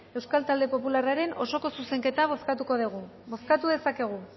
euskal talde popularraren osoko zuzenketa bozkatuko dugu bozkatu dezakegu